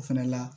O fɛnɛ la